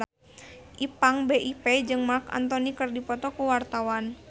Ipank BIP jeung Marc Anthony keur dipoto ku wartawan